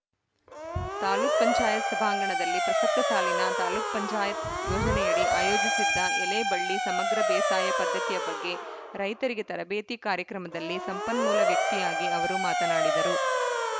ತಾಲೂಕ್ ಪಂಚಾಯತ್ ಸಭಾಂಗಣದಲ್ಲಿ ಪ್ರಸಕ್ತ ಸಾಲಿನ ತಾಲೂಕ್ ಪಂಚಾಯತ್ ಯೋಜನೆಯಡಿ ಆಯೋಜಿಸಿದ್ದ ಎಲೆಬಳ್ಳಿ ಸಮಗ್ರ ಬೇಸಾಯ ಪದ್ಧತಿಯ ಬಗ್ಗೆ ರೈತರಿಗೆ ತರಬೇತಿ ಕಾರ್ಯಕ್ರಮದಲ್ಲಿ ಸಂಪನ್ಮೂಲ ವ್ಯಕ್ತಿಯಾಗಿ ಅವರು ಮಾತನಾಡಿದರು